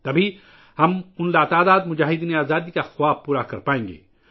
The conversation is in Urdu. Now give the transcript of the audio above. تب ہی ہم ان لاتعداد آزادی پسندوں کے خواب کو پورا کر سکیں گے